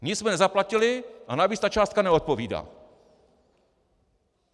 Nic jsme nezaplatili a navíc ta částka neodpovídá.